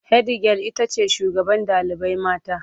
Hedigyal itace shugaban ɗalibai mata